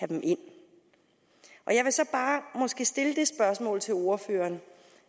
dem ind jeg vil så bare måske stille det spørgsmål til ordføreren